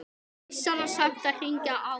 Vissara samt að hringja áður.